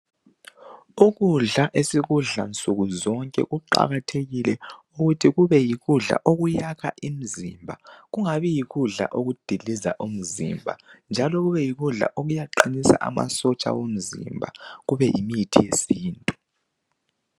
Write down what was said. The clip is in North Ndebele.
Ukudla esikudla nsuku zonke kuqakathekile ukuba kube yikudla okuyakha umzimba kungabi yikudla okudiliza umzimba njalo kube yikudla okuqinisa amasotsha omzimba njalo kube yimithi yesintu.